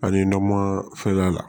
Ani nama fɛn la